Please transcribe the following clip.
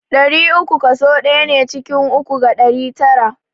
Ɗari uku kaso ɗaya ne ciki uku ga ɗari tara.